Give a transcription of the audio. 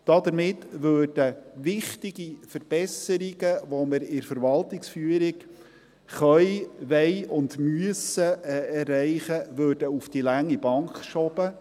Damit würden wichtige Verbesserungen, die wir in der Verwaltungsführung erreichen können, wollen und müssen, auf die lange Bank geschoben.